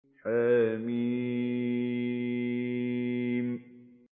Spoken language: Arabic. حم